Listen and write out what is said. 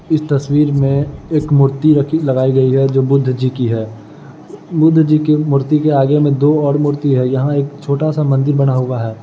इस तस्वीर में एक मूर्ति रखी लगाई गई है जो बुद्ध जी की है बुद्ध जी के मूर्ति के आगे में दो और मुर्तियाँ है यहाँ एक छोटा सा मंदिर बना हुआ है।